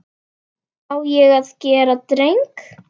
Á ég að gera dreng?